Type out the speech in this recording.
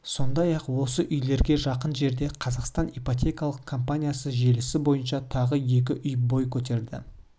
сондай-ақ осы үйлерге жақын жерде қазақстан ипотекалық компаниясы желісі бойынша тағы екі үй бой көтерді